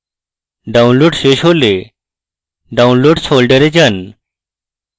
download শেষ হলে downloads folder যান